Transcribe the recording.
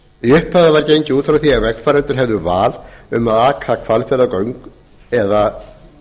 í upphafi var gengið út frá því að vegfarendur hefðu val um að aka hvalfjarðargöng eða